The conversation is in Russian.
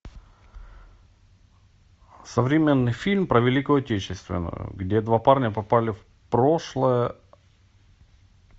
современный фильм про великую отечественную где два парня попали в прошлое